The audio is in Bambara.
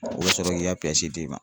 O bɛ sɔrɔ k'i ka d'i ma.